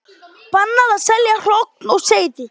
Bannað að selja hrogn og seiði